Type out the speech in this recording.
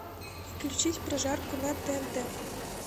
включить прожарку на тнт